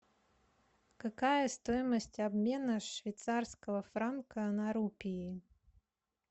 какая стоимость обмена швейцарского франка на рупии